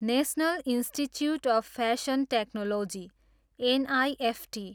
national institute of fashion technology, NIFT